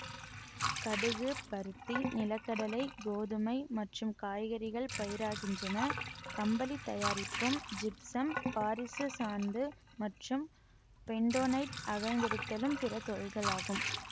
கடுகு பருத்தி நிலக்கடலை கோதுமை மற்றும் காய்கறிகள் பயிராகின்றன கம்பளித் தயாரிப்பும் ஜிப்சம் பாரிசுச் சாந்து மற்றும் பெண்டோனைட் அகழ்ந்தெடுத்தலும் பிற தொழில்களாகும்